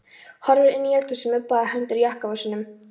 Horfir inn í eldhúsið með báðar hendur í jakkavösunum.